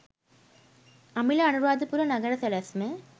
අමිල අනුරාධපුර නගර සැලැස්ම